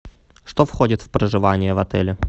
что входит в проживание в отеле